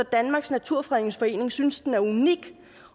danmarks naturfredningsforening synes den er unik